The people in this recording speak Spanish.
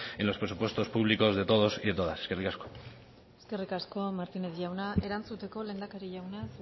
en los presupuestos públicos de todos y de todas eskerrik asko eskerrik asko martínez jauna erantzuteko lehendakari jauna